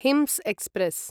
hints express